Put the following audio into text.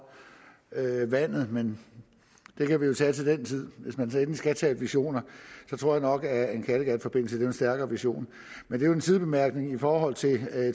vandet men det kan vi jo tage til den tid hvis man endelig skal tale visioner tror jeg nok at en kattegatforbindelse er en stærkere vision men det er en sidebemærkning i forhold til